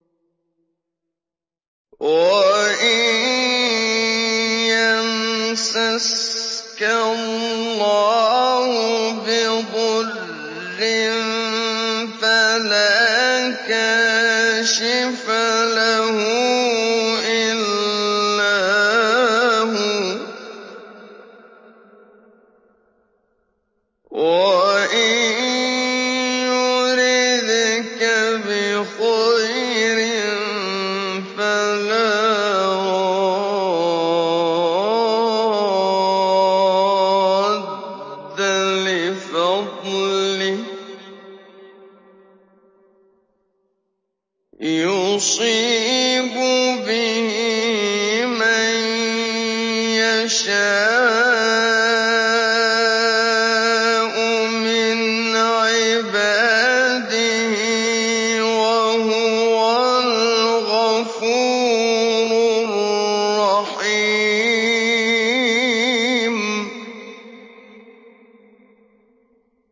وَإِن يَمْسَسْكَ اللَّهُ بِضُرٍّ فَلَا كَاشِفَ لَهُ إِلَّا هُوَ ۖ وَإِن يُرِدْكَ بِخَيْرٍ فَلَا رَادَّ لِفَضْلِهِ ۚ يُصِيبُ بِهِ مَن يَشَاءُ مِنْ عِبَادِهِ ۚ وَهُوَ الْغَفُورُ الرَّحِيمُ